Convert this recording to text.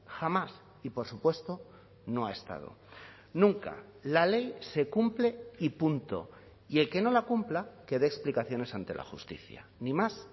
jamás y por supuesto no ha estado nunca la ley se cumple y punto y el que no la cumpla que dé explicaciones ante la justicia ni más